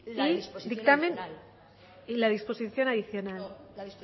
la disposición adicional y la disposición adicional la